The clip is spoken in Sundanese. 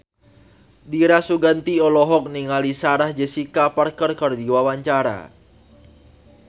Dira Sugandi olohok ningali Sarah Jessica Parker keur diwawancara